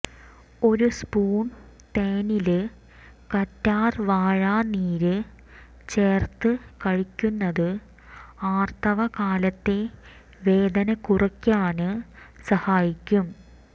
ഒരു സ്പൂണ് തേനില് കറ്റാര് വാഴ നീര് ചേര്ത്ത് കഴിക്കുന്നത് ആര്ത്തവ കാലത്തെ വേദന കുറയ്ക്കാന് സഹായിക്കും